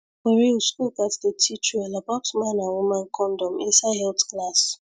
for real school gats dey teach well about man and woman condom inside health class